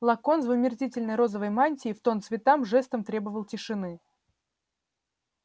локонс в омерзительной розовой мантии в тон цветам жестом требовал тишины